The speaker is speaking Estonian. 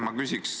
Aitäh!